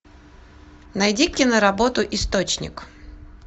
найди киноработу источник